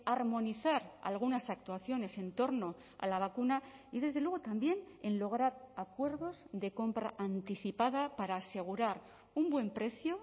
armonizar algunas actuaciones entorno a la vacuna y desde luego también en lograr acuerdos de compra anticipada para asegurar un buen precio